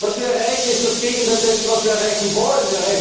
Was wir erreichen ist das Gegenteil dessen, was wir erreichen wollen.